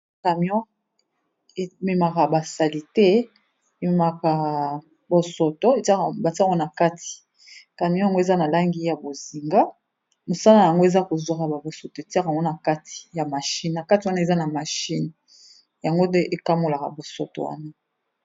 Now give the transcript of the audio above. Camion émémaka ba salité, émémaka bosoto, batiaka yango na kati. Camion yango eza na langi ya bozindo, mosala na yango eza kozwaka ba bosoto étiaka ngo na kati ya machine, na kati wana eza na machine yango nde ékamolaka bosoto wana.